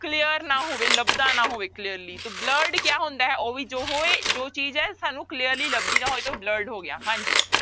Clear ਨਾ ਹੋਵੇ ਲੱਭਦਾ ਨਾ ਹੋਵੇ clearly ਤੋ blurred ਕਿਆ ਹੁੰਦਾ ਹੈ ਉਹ ਵੀ ਜੋ ਹੋਏ ਜੋ ਚੀਜ਼ ਹੈ ਸਾਨੂੰ clearly ਲੱਭਦੀ ਨਾ ਹੋਏ ਤੇ ਉਹ blurred ਹੋ ਗਿਆ ਹਾਂਜੀ।